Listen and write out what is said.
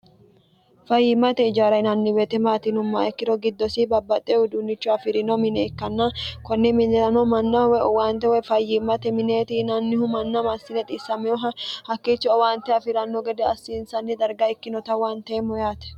fayyiimmate ijaara yinanni woyte maati yinummoha ikkiro giddosi babbaxxe uiduunnicho afirino mine ikkanna kunni minirano manna woy owaante woy fayyiimmate mineeti yinannihu manna massine xiissameyoha hakkiichi owaante afiranno gede assiinsanni darga ikkinota huwaanteemmo yaate